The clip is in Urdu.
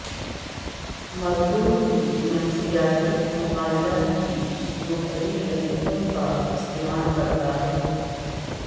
مزدور کی نفسیاتی مطالعہ کے مختلف طریقوں کا استعمال کرتا ہے